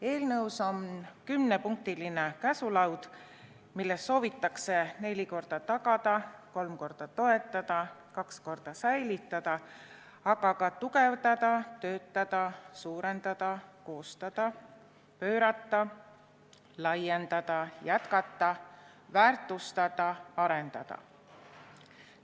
Eelnõus on kümnepunktiline käsulaud, milles soovitakse neli korda tagada, kolm korda toetada, kaks korda säilitada, aga ka tugevdada, töötada, suurendada, koostada, pöörata, laiendada, jätkata, väärtustada, arendada.